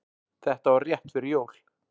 Þetta var rétt fyrir jól.